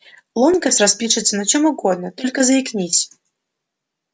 локонс распишется на чём угодно только заикнись